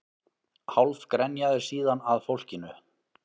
Hálf grenjaði síðan að fólkinu